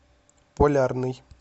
полярный